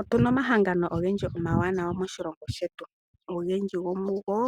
Otuna omahangano ogendji omawanawa moshilongo shetu, ogendji go mugo